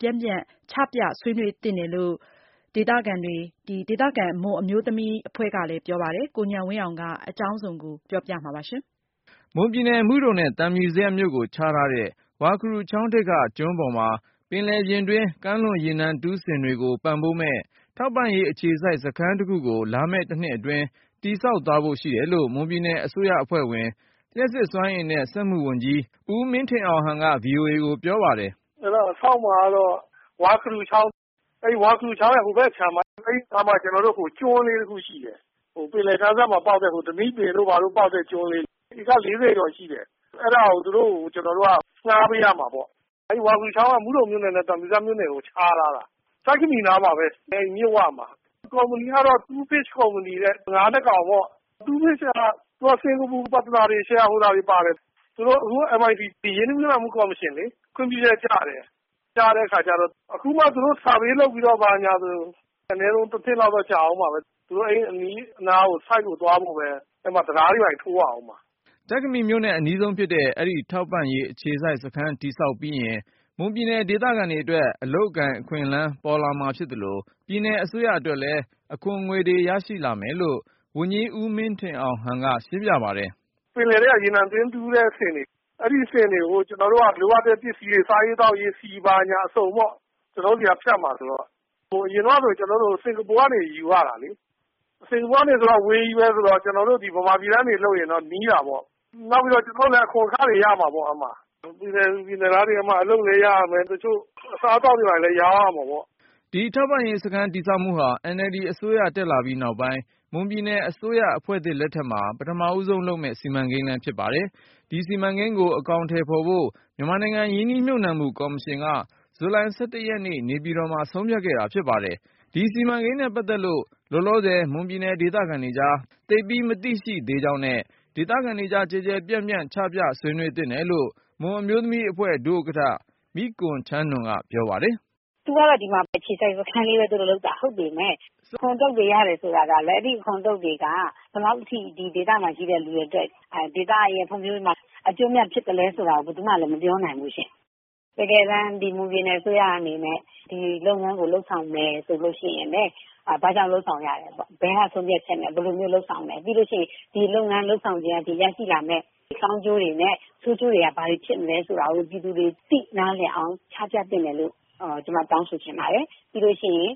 ပြန့်ပြန့် ချပြဆွေးနွေးသင့်တယ်လို့ ဒေသခံ မွန်အမျိုးသမီးအဖွဲ့က ပြောပါတယ်။ ဒီအကြောင်းကိုတော့ ကိုဉာဏ်ဝင်းအောင်က တင်ပြမှာပါ။ မွန်ပြည်နယ် မုဒုံမြို့နဲ့ သံဖြူဇရပ်မြို့ကို ခြားထားတဲ့ ဝါခရူချောင်းထိပ်က ကျွန်းပေါ်မှာ ပင်လယ်ပြင်တွင်း ကမ်းလွန်ရေနံတူးစင်တွေကို ပံ့ပိုးမယ့် Myanmar Offshore Supply Base Limited ထောက်ပံ့ရေးအခြေစိုက် စခန်းတစ်ခုကို လာမယ့်တနှစ်အတွင်း တည်ဆောက်သွားဖို့ ရှိတယ်လို့ မွန်ပြည်နယ်အစိုးရအဖွဲ့ဝင် လျှပ်စစ်စွမ်းအင်နဲ့ စက်မှုဝန်ကြီး ဦးမင်းထင်အောင်ဟန်က VOA ကိုပြောပါတယ်။ “ အဲဒါဆောက်မှာ ကတော့ ဝါခရူချောင်း၊ အဲဒီ ဝါခရူချောင်းရဲ့ ဟိုဘက်ခြမ်းမှာ။ အဲဒီအခြမ်းမှာ ကျွန်းလေး တခုရှိတယ်။ ပင်လယ်ကမ်းစပ်မှာ ပေါက်တဲ့ ဓနိပင်တို့ဘာတို့ ပေါက်တဲ့ ကျွန်းလေး။ ဧက ၄၀ ကျော်ရှိတယ်။ အဲဒါကို သူတို့ကို ကျနော်တို့က ငှားပေးရမှာပေါ့။ အဲဒီ ဝါခရူချောင်းက မုဒုံမြို့နယ်နဲ့ သံဖြူဇရပ်မြို့နယ်ကို ခြားထားတာ။ ကျိုက္ခမီနားမှာပဲ။မြစ်ဝမှာ။ ကုမ္ပဏီကတော့ Two Fish Company တဲ့ ငါး ၂ ကောင်ပေါ့။ Two Fish က သူက စင်္ကာပူ ပါတနာတွေဆီက share holders တွေပါတယ်။ သူတို့ အခု MITC ရင်းနှီးမြုပ်နှံမှု ကော်မရှင်လေ၊ ခွင့်ပြုချက်ကျတယ်။ ကျတဲ့အခါကြတော့ အခုမှ သူတို survey လုပ်ပြီးတော့ ဘာညာဆို အနည်းဆုံး တနှစ် လောက်တော့ ကြာအုံးမှာပဲ။ သူတို့ အနီးအနားကို ဆိုက်ဖို့ သွားဖို့ပဲ အဲမှာ တံတားတွေ ဘာတွေ ထိုးရအုံးမှာ။” ကျိုက္ခမီမြို့နဲ့ အနီးဆုံးဖြစ်တဲ့ အဲဒီ ထောက်ပံ့ရေး အခြေစိုက်စခန်း တည်ဆောက်ပြီးရင် မွန်ပြည်နယ် ဒေသခံတွေအတွက် အလုပ်အကိုင် အခွင့်အလမ်း ပေါ်လာမှာ ဖြစ်သလို၊ ပြည်နယ်အစိုးရအတွက်လည်း အခွန်ငွေ ရလာမယ်လို့ ဝန်ကြီး ဦးမင်းထင်အောင်ဟန်က ရှင်းပြပါတယ်။ “ ပင်လယ်ထဲက ရေနံတွင်းတူးတဲ့ စင်တွေ၊ အဲဒီစင်တွေကို ကျနော်တို့က လိုအပ်တဲ့ ပစ္စည်းတွေ စားရေးသောက်ရေး ဆီ ဘာညာ အစုံပေါ့။ ကျနော်တို့ဆီက ဖြတ်မှာဆိုတော့။ ဟိုအရင်တုန်း ကဆို ကျနော်တို့ စင်္ကာပူကနေ ယူရတာလေ။ စင်္ကာပူကနေဆိုတော့ အဝေးကြီးပဲဆိုတော့ ကျနော်တို့ ဗမာပြည်ကနေ လုပ်ရင်တော့ နီးတာပေါ့။ နောက်ပြီးတော့ အခွန်အခတွေလည်း ရမှာပေါ့။ ပြည်နယ်သူ ပြည်နယ်သားတွေ အဲမှာ အလုပ်လည်း ရကြမယ်။ တချို့ အစားအသောက်တွေ ဘာတွေလည်း ရောင်းရမှာပေါ့။ ” ဒီထောက်ပံ့ရေးစခန်း တည်ဆောက်မှုဟာ NLD အစိုးရတက်လာပြီးနောက်ပိုင်း မွန်ပြည်နယ်အစိုးရ အဖွဲ့သစ်လက်ထက်မှာ ပထမဆုံးလုပ်မယ့် စီမံကိန်းလဲ ဖြစ်ပါတယ်။ ဒီစီမံကိန်းကို အကောင်အထည်ဖော်ဖို့ မြန်မာနိုင်ငံ ရင်းနှီးမြှုပ်နှံမှုကော်မရှင်က ဇူလိုင် ၁၁ ရက်နေ့ နေပြည်တော်မှာ ဆုံးဖြတ်ခဲ့တာ ဖြစ်ပါတယ်။ ဒီစီမံကိန်းနဲ့ပတ်သက်လို့ လောလောဆယ် မွန်ပြည်နယ်ဒေသခံတွေကြား သိပ်ပြီး မသိရှိသေးကြောင်းနဲ့ ဒေသခံ တွေကြား ကျယ်ကျယ်ပြန့်ပြန့် ချပြဆွေးနွေး သင့်တယ်လို့ မွန်အမျိုးသမီးအဖွဲ့ ဒုဥက္ကဌ မိကွန်ချမ်းနွန်က ပြောပါတယ်။ “ သူကတော့ ဒီမှာ အခြေစိုက် စခန်းလေးပဲ လုပ်တာ ဟုတ်ပေမယ့် အခွန်အတုတ်တွေ ရတယ်ဆိုတာကလည်း အဲဒီအခွန်အတုတ်တွေက ဘယ်လောက်အထိ ဒီဒေသမှာ ရှိတဲ့လူတွေအတွက် ဒေသရဲ့ဖွံ့ဖြိုးရေးမှာ အကျိုးအမြတ် ဖြစ်သလဲဆိုတာ ဘယ်သူမှ လည်း မပြောနိုင်ဘူးရှင့်။ တကယ်တမ်း ဒီမွန်ပြည်နယ် အစိုးရအနေနဲ့ ဒီလုပ်ငန်းကို လုပ်ဆောင်မယ်ဆိုလို့ ရှိရင်လည်း ဘာကြောင့် လုပ်ဆောင်ရတယ်ပေါ့။ ဘယ်က ဆုံးဖြတ်ချက်နဲ့ ဘယ်လိုမျိုး လုပ်ဆောင်မယ်။ ပြီးလို့ရှိရင် ဒီလုပ်ငန်း လုပ်ဆောင်ခြင်းအားဖြင့် ရရှိလာမယ့် ကောင်းကျိုးတွေနဲ့ ဆိုးကျိုးတွေက ဘာတွေ ဖြစ်မလဲ ဆိုတာကို ပြည်သူတွေ သိနားလည်အောင် ချပြသင့်တယ်လို့ ကျမ တောင်းဆိုချင်ပါတယ်။ ပြီးလို့ရှိရင်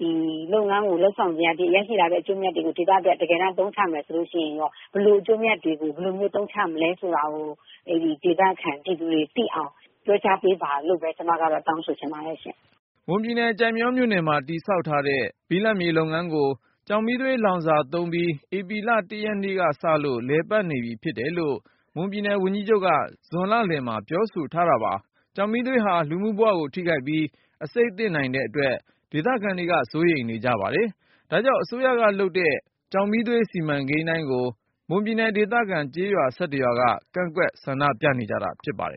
ဒီလုပ်ငန်းကို လုပ်ဆောင်ခြင်း အားဖြင့် ရရှိမယ့် အကျိုးအမြတ်တွေကို ဒေသအတွက် အသုံးချမယ် ဆိုလို့ရှိရင် ဘယ်လိုအကျိုးအမြတ်တွေကို ဘယ်လိုမျိုး အသုံးချမယ်ဆိုတာကို အဲဒီဒေသခံ ပြည်သူတွေ သိအောင် လွှဲပြောင်းပေးပါ လို့ပဲ ကျမက တောင်းဆိုချင်ပါတယ်ရှင့်။ ” မွန်ပြည်နယ် ကျိုက်မရောမြို့နယ်မှာ တည်ဆောက်ထားတဲ့ ဘိလပ်မြေလုပ်ငန်းကို ကျောက်မီးသွေးလောင်စာသုံးပြီး ဧပြီလ ရက်နေ့ကစလို့ လည်ပတ်နေပြီဖြစ်တယ်လို့ မွန်ပြည်နယ်ဝန်ကြီးချုပ်က ဇွန်လလယ်မှာပြောဆိုပါတယ်။ ကျောက်မီးသွေးက လူမှုဘဝကိုထိခိုက်ပြီး အဆိပ်သင့် နိုင်တဲ့အတွက် ဒေသခံတွေက စိုးရိမ်ကြပါတယ်။ ဒါကြောင့် အစိုးရကလုပ်တဲ့ ကျောက်မီးသွေး စီမံကိန်းတိုင်းကို မွန်ပြည်နယ် ဒေသခံကျေးရွာ ရွာက ကန့်ကွက် ဆန္ဒပြနေကြတာ ဖြစ်ပါတယ်